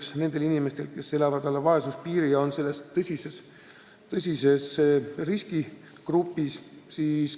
Silmas peetakse just inimesi, kes elavad alla vaesuspiiri ja on selles mõttes riskigrupis.